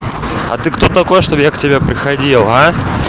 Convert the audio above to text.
а ты кто такой чтобы я к тебе приходил а